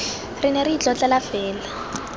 re ne re itlotlela fela